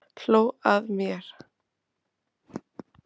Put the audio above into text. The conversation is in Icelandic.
Hló að mér!